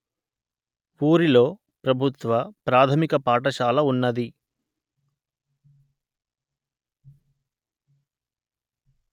ఊరిలో ప్రభుత్వ ప్రాథమిక పాఠశాల ఉన్నది